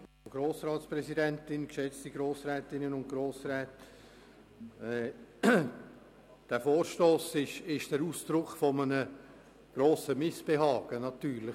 Dieser Vorstoss ist nach dem Fall von Abu Ramadan natürlich Ausdruck eines grossen Missbehagens.